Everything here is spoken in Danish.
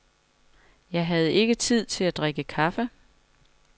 Jeg havde ikke tid til at drikke kaffe.